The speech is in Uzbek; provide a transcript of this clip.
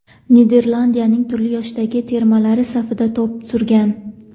Niderlandiyaning turli yoshdagi termalari safida to‘p surgan.